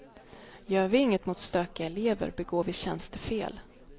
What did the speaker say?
Gör vi inget mot stökiga elever begår vi tjänstefel.